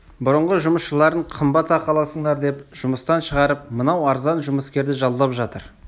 бұрынғы жұмысшыларын қымбат ақы аласыңдар деп жұмыстан шығарып мынау арзан жұмыскерді жалдап жатыр